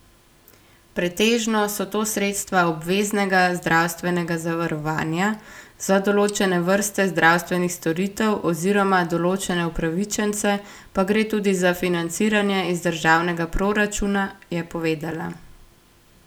Pretežno so to sredstva obveznega zdravstvenega zavarovanja, za določene vrste zdravstvenih storitev oziroma določene upravičence pa gre tudi za financiranje iz državnega proračuna, je povedala.